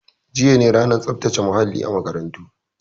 Jiya ne ranar tsaftace muhalli a makarantarmu